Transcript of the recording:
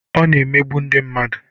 Ọ na-emegbu ndị mmadụ.